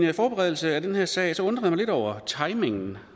i forberedelsen af den her sag undrede jeg mig lidt over timingen